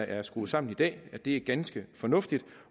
er skruet sammen i dag er ganske fornuftige